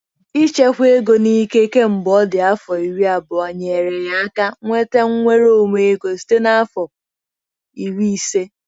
Ịchekwa ego n'ike kemgbe ọ dị afọ iri abụọ nyeere ya aka nweta nnwere onwe ego site na afọ iri ise.